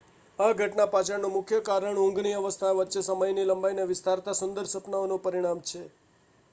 આ ઘટના પાછળનું મુખ્ય કારણ ઊંઘની અવસ્થાઓ વચ્ચે સમયની લંબાઈને વિસ્તારતા સુંદર સપનાઓનું પરિણામ છે